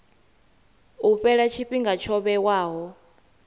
u fhela tshifhinga tsho vhewaho